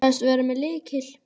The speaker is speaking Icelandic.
Sagðist vera með lykil.